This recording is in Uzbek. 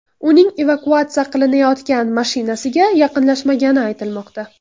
Uning evakuatsiya qilinayotgan mashinasiga yaqinlashmagani aytilmoqda.